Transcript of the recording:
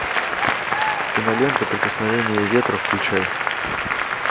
кинолента прикосновение ветра включай